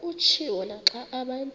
kutshiwo naxa abantu